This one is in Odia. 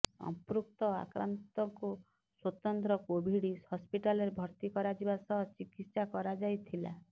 ସଂପୃକ୍ତ ଆକ୍ରାନ୍ତଙ୍କୁ ସ୍ୱତନ୍ତ୍ର କୋଭିଡ ହସପିଟାଲରେ ଭର୍ତି କରାଯିବା ସହ ଚିକିତ୍ସା କରାଯାଇଥିଲା